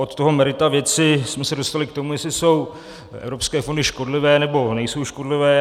Od toho merita věci jsme se dostali k tomu, jestli jsou evropské fondy škodlivé, nebo nejsou škodlivé.